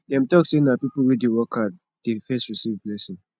dem tok sey na pipo wey dey work hard dey first receive blessing